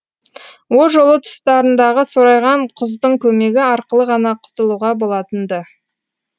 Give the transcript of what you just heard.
о жолы тұстарындағы сорайған құздың көмегі арқылы ғана құтылуға болатын ды